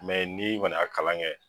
ni kɔni y'a kalan kɛ.